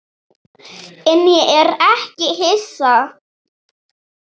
En ég er ekki hissa.